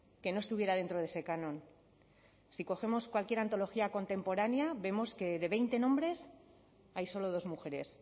que no estuviera dentro de ese canon si cogemos cualquier antología contemporánea vemos que de veinte nombres hay solo dos mujeres